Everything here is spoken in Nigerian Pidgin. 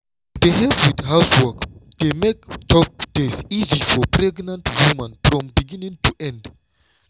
to dey help with housework dey make tough days easy for pregnant woman from beginning to end.